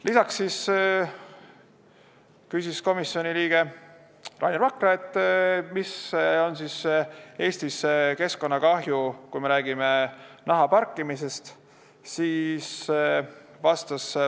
Lisaks küsis komisjoni liige Rainer Vakra, milline on Eestis keskkonnakahju, kui me räägime nahaparkimisest.